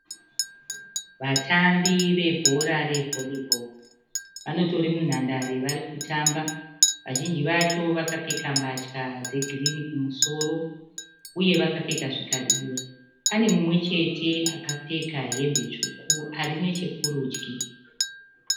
Vatambi vebhora re(Volleyball) vanotori munhandare vachitamba vazhinji vacho vakapfeka mbatya dzegirini kumusoro uye vakapfeka zvikabhudhura. Pane mumwe chete akapfeka hembe tsvuku arinechekurudyi.